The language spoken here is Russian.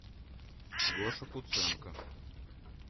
гоша куценко